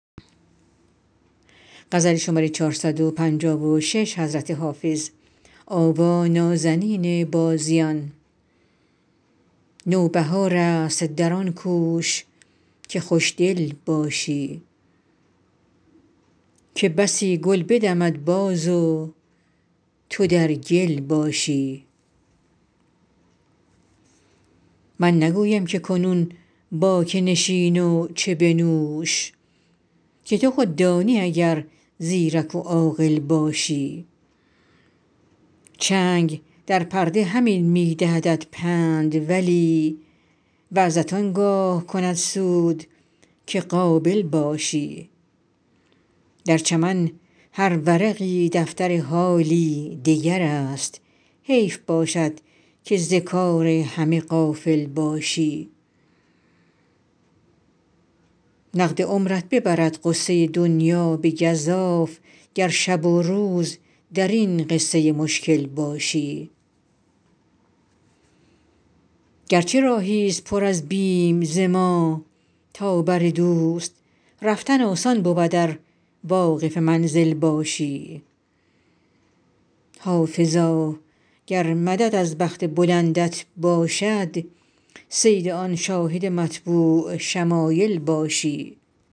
نوبهار است در آن کوش که خوش دل باشی که بسی گل بدمد باز و تو در گل باشی من نگویم که کنون با که نشین و چه بنوش که تو خود دانی اگر زیرک و عاقل باشی چنگ در پرده همین می دهدت پند ولی وعظت آن گاه کند سود که قابل باشی در چمن هر ورقی دفتر حالی دگر است حیف باشد که ز کار همه غافل باشی نقد عمرت ببرد غصه دنیا به گزاف گر شب و روز در این قصه مشکل باشی گر چه راهی ست پر از بیم ز ما تا بر دوست رفتن آسان بود ار واقف منزل باشی حافظا گر مدد از بخت بلندت باشد صید آن شاهد مطبوع شمایل باشی